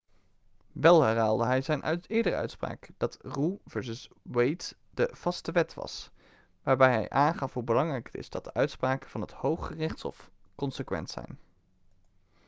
wel herhaalde hij zijn eerdere uitspraak dat roe vs wade de vaste wet' was waarbij hij aangaf hoe belangrijk het is dat de uitspraken van het hooggerechtshof consequent zijn